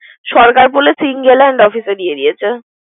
সরকার বলেছে দিয়ে দিয়েছে।